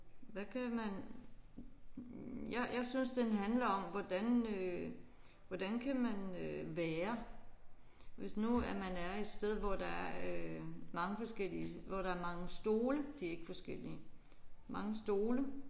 Hvad kan man jeg jeg synes den handler om hvordan øh hvordan kan man øh være hvis nu at man er et sted hvor der er øh mange forskellige hvor der er mange stole de er ikke forskellige mange stole